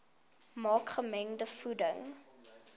maak gemengde voeding